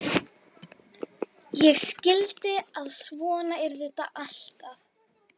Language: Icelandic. Ég skildi að svona yrði þetta alltaf.